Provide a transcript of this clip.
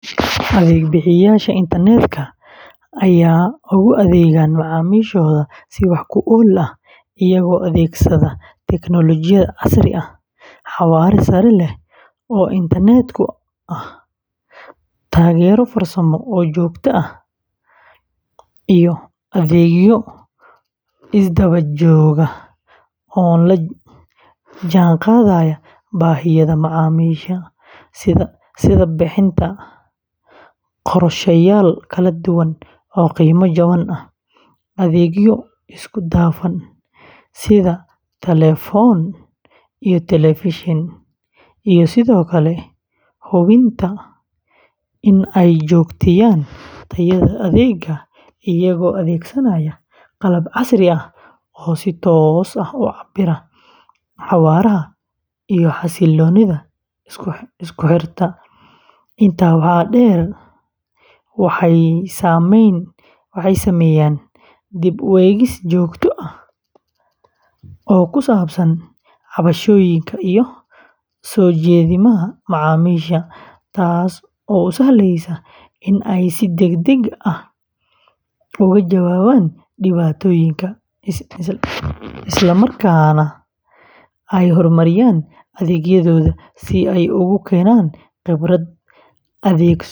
Adeeg-bixiyayaasha internetka ayaa ugu adeegaan macaamiishooda si wax ku ool ah iyagoo adeegsada tiknoolajiyad casri ah, xawaare sare leh oo internet ah, taageero farsamo oo joogto ah, iyo adeegyo isdaba joog ah oo la jaan qaadaya baahiyaha macaamiisha, sida bixinta qorshayaal kala duwan oo qiimo jaban ah, adeegyo isku dhafan sida telefoon iyo telefishan, iyo sidoo kale hubinta in ay joogteeyaan tayada adeegga iyagoo adeegsanaya qalab casri ah oo si toos ah u cabbira xawaaraha iyo xasiloonida isku xirka; intaa waxaa dheer, waxay sameeyaan dib u eegis joogto ah oo ku saabsan cabashooyinka iyo soo jeedimaha macaamiisha, taasoo u sahlaysa in ay si degdeg ah uga jawaabaan dhibaatooyinka, isla markaana ay horumariyaan adeegyadooda si ay ugu keenaan khibrad adeeg.